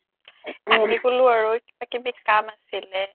আহি গ'লো আৰু কিবা কিবি কাম আছিলে